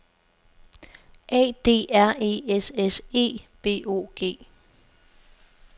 A D R E S S E B O G